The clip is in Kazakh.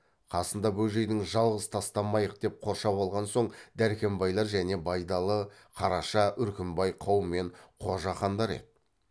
қасында бөжейдің жалғыз тастамайық деп қоршап қалған сол дәркембайлар және байдалы қараша үркімбай қаумен қожақандар еді